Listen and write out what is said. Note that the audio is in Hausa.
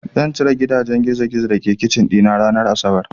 Zan cire gidajen gizogizo da ke kicin ɗina ranar asabar.